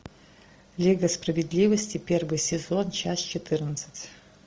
лига справедливости первый сезон часть четырнадцать